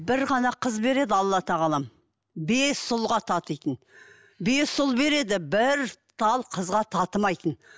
бір ғана қыз береді алла тағалам бес ұлға татитын бес ұл береді бір тал қызға татымайтын